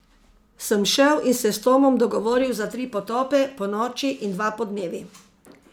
Sem šel in se s Tomom dogovoril za tri potope, ponoči in dva podnevi.